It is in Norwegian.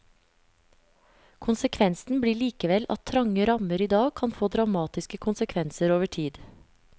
Konsekvensen blir likevel at trange rammer i dag kan få dramatiske konsekvenser over tid.